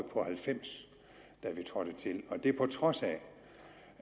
på halvfems da vi trådte til det på trods af